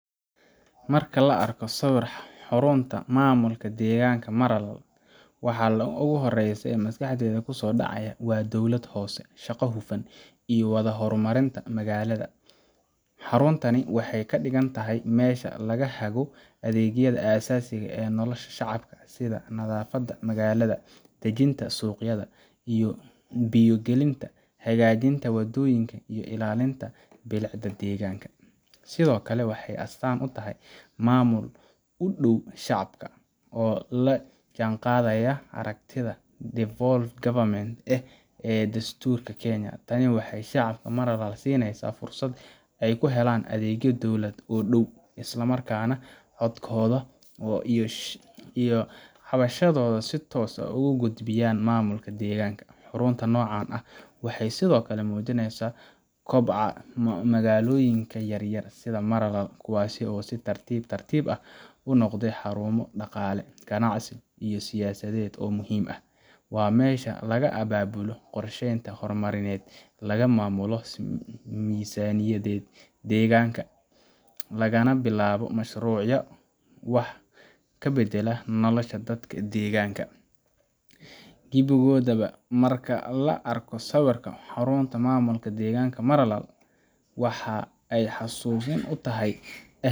Marka la arko sawir xarunta maamulka degmada Maralal, waxa ugu horreeya ee maskaxda ku soo dhacaya waa dowlad hoose shaqo hufan ka wadda horumarinta magaalada. Xaruntani waxay ka dhigan tahay meesha laga hago adeegyada aasaasiga ah ee nolosha shacabka sida nadaafadda magaalada, dejinta suuqyada, biyo gelinta, hagaajinta waddooyinka, iyo ilaalinta bilicda deegaanka. Sidoo kale, waxay astaan u tahay maamul u dhow shacabka, oo la jaanqaadaya aragtida devolved government ee dastuurka Kenya. Tani waxay shacabka Maralal siinaysaa fursad ay ku helaan adeegyo dawladeed oo dhow, isla markaana ay codkooda iyo cabashadooda si toos ah ugu gudbiyaan maamulka degmada. Xarunta noocan ah waxay sidoo kale muujinaysaa koboca magaalooyinka yaryar sida Maralal, kuwaas oo si tartiib tartiib ah u noqday xarumo dhaqaale, ganacsi iyo siyaasadeed oo muhiim ah. Waa meesha laga abaabulo qorsheyaasha horumarineed, laga maamulo miisaaniyadda degmada, lagana bilaabo mashruucyo wax ka beddela nolosha dadka deegaanka. gebigoodaba, marka la arko sawirka xarunta maamulka degmada Maralal, waxa ay xasuusin u tahay.